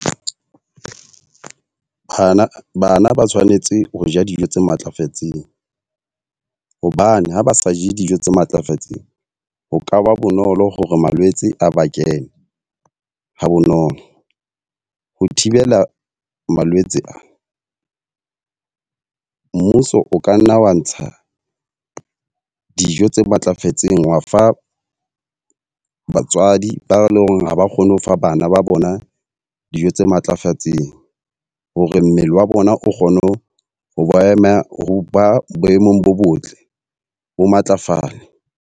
Bana bana ba tshwanetse ho ja dijo tse matlafetseng. Hobane ha ba sa je dijo tse matlafetseng, ho kaba bonolo hore malwetse a ba kene hs bonolo. Ho thibela malwetse ana mmuso o ka nna wa ntsha dijo tse matlafetseng, wa fa batswadi ba leng hore ha ba kgone ho fa bana ba bona dijo tse matlafetseng hore mmele wa bona o kgone ho ho ba ema, ho ba boemong bo botle bo matlafale.